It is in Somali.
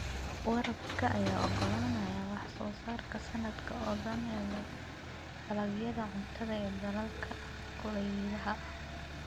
Waraabka ayaa ogolaanaya wax soo saarka sanadka oo dhan ee dalagyada cuntada ee dalalka kulaylaha.